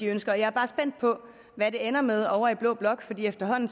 ønsker jeg er bare spændt på hvad det ender med ovre i blå blok for efterhånden